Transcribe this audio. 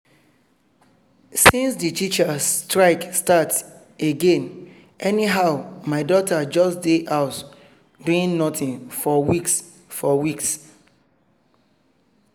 since the teachers strike start again anyhow my daughter just dey house doing nothing for weeks for weeks